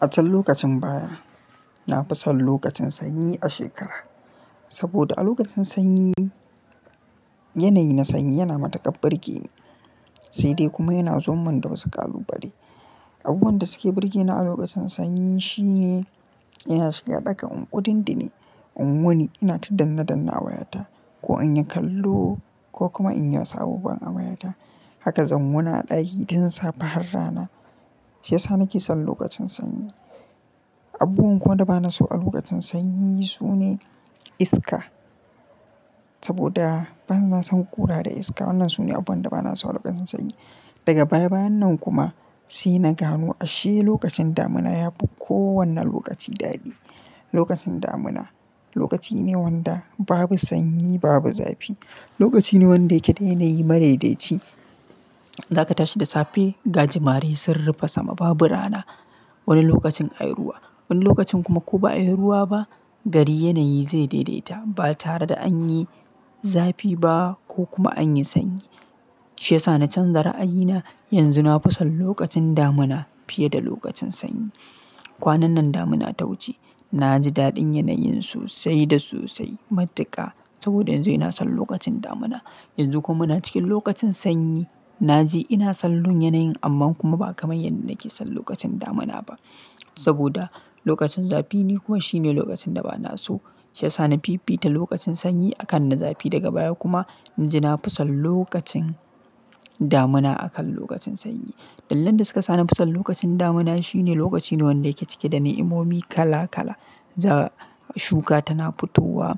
A can lokacin baya, na fi son lokacin sanyi a shekara. Saboda a lokacin sanyi, yanayi na sanyi yana matuƙar burge ni, sai dai kuma yana zo mun da wasu ƙalu bale. Abubuwan da suke burge ni a lokacin sanyi shine, ina shiga ɗaka in kuɗi ndine, in wuni ina ta danne danne a wayata. Ko in yi kallo ko kuma in yi wasu abubuwan a wayata. Haka zan wuni a ɗaki tun safe har rana. Shi yasa nake son lokacin sanyi. Abubuwan kuwa da ba na so a lokacin sanyi sune iska. Saboda bana son ƙura da iska. Wannan sune abubuwan da ba na so a lokacin sanyi. Daga baya bayan nan kuma, sai na gano ashe lokacin damuna yafi kowane lokaci daɗi. Lokacin damuna, lokaci ne wanda babu sanyi babu zafi. Lokaci ne wanda yake da yanayi madaidaci. Zaka tashi da safe, gaji mare sun rufe sama babu rana. Wani lokacin ayi ruwa, wani lokacin kuma ko ba'a yi ruwa ba, gari yanayi zai daidaita ba tare da an yi zafi ba ko kuma an yi sanyi. Shi yasa na canza ra'ayina. Yanzu na fi son lokacin damuna fiye da lokacin sanyi. Kwanan nan damuna ta wuce, na ji daɗin yanayin sosai da sosai matuƙa. Saboda yanzu ina son lokacin damuna. Yanzu kuma muna cikin lokacin sanyi. Na ji ina son lun yanayin amma kuma ba kamar yadda nake son lokacin damuna ba. Saboda lokacin zafi ni kuma shine lokacin da ba na so. Shi yasa na fifita lokacin sanyi akan na zafi daga baya kuma, yanzu ina fi son lokacin damuna akan lokacin sanyi. Dalilan da suka sa na fi son lokacin damuna shine lokaci ne wanda yake cike da ni'imomi kala kala. Za shuka tana fitowa,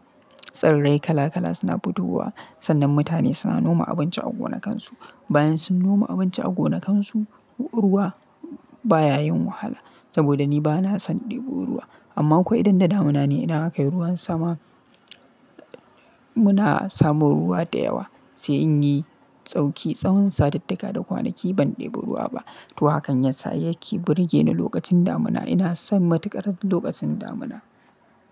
tsirrai kala kala suna fitowa. Sannan mutane suna noma abinci a gonakansu. Bayan sun noma abinci a gonakansu, ruwa baya yin wahala. Saboda ni ba na son ɗebo ruwa. Amma akwai idan da damuna ne idan akai ruwan sama, muna samun ruwa da yawa. Sai in yi sauki, tsawon satittika da kwanaki ban ɗebo ruwa ba. To hakan yasa yake burge ni lokacin damuna. Ina son matuƙar lokacin damuna.